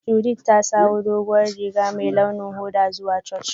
Judith ta sawo duguwan Riga mai ruwan hoda zuwa Church.